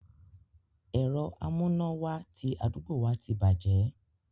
Ẹ̀rọ amúnáwá ti àdúgbò wa ti bàjẹ́.